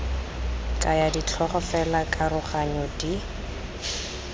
kaya ditlhogo fela dikaroganyo di